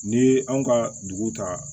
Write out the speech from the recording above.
N'i ye anw ka dugu ta